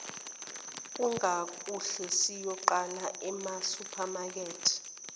kungakuhle siyoqala emasupermarket